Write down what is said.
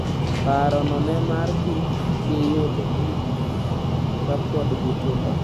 Parono nemar kik giyud ich kapod gitindo.